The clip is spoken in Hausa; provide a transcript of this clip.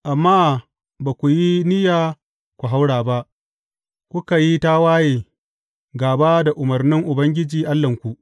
Amma ba ku yi niyya ku haura ba, kuka yi tawaye gāba da umarnin Ubangiji Allahnku.